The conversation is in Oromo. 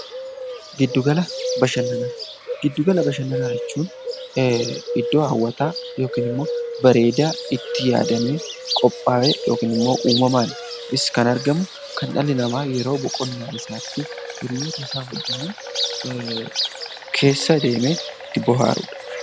Gidduu gala bashannanaa jechuun iddoo hawwataa yookiin immoo bareedaa itti yaadamee qophaa'ee yookiin immoo uumamaanis kan jiru kan dhalli namaa boqonnaa isaatti hiriyyoota isaa wajjin keessa deemee bohaarudha.